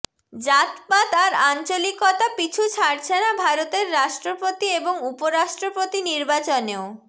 জাতপাত আর আঞ্চলিকতা পিছু ছাড়ছে না ভারতের রাষ্ট্রপতি এবং উপ রাষ্ট্রপতি নির্বাচনেও